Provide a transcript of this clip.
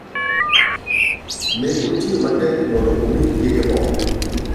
Ne otiyo matek mondo omi chiege morr.